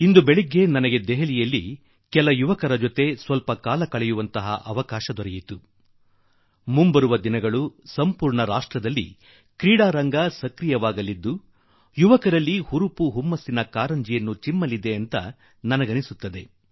ಇಂದು ಬೆಳ್ಳಂಬೆಳಿಗ್ಗೆ ನನಗೆ ದೆಹಲಿಯ ಯುವ ಜನರೊಡನೆ ಸ್ವಲ್ಪ ಸಮಯ ಕಳೆಯುವ ಅವಕಾಶ ದೊರಕಿತು ಮತ್ತು ಮುಂಬರುವ ದಿನಗಳಲ್ಲಿ ಇಡೀ ದೇಶದಲ್ಲಿ ಕ್ರೀಡೆಯ ರಂಗು ಪ್ರತಿಯೊಬ್ಬ ಯುವಕನಲ್ಲೂ ಉತ್ಸಾಹ ಉಮೇದಿನ ಕ್ರೀಡಾ ಭಾವನೆ ತುಂಬಿ ಹೋಗಿರುತ್ತದೆ ಎಂದು ನಾನು ನಂಬುವೆ